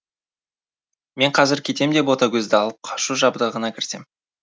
мен қазір кетем де ботагөзді алып қашу жабдығына кірісем